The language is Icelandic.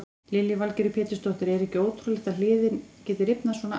Lillý Valgerður Pétursdóttir: Er ekki ótrúlegt að hliðin geti rifnað svona af?